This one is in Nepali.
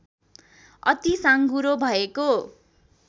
अति साँघुरो भएको